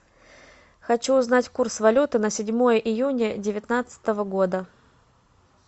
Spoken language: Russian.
хочу узнать курс валюты на седьмое июня девятнадцатого года